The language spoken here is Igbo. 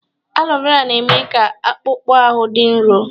Alo Vera na-eme ka akpụkpọ ahụ dị nro.